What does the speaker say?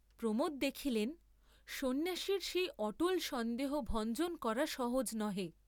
প্রমোদ দেখিলেন, সন্ন্যাসীর সেই অটল সন্দেহ ভঞ্জন করা সহজ নহে।